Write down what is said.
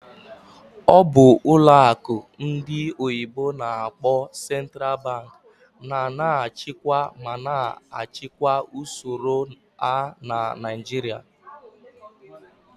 Ọ bụ ụlọ akụ ndị oyibo n'akpọ "Central Bank" na na-achịkwa ma na-achịkwa usoro a na Naịjirịa?